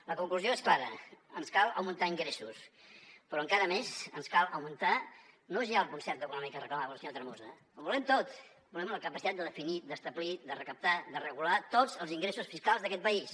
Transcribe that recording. la conclusió és clara ens cal augmentar ingressos però encara més ens cal augmentar no ja el concert econòmic que reclamava el senyor tremosa ho volem tot volem la capacitat de definir d’establir de recaptar de regular tots els ingressos fiscals d’aquest país